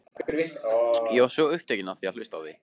Ég var svo upptekinn af að hlusta á þig.